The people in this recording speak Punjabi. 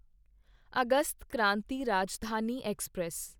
August Kranti Rajdhani express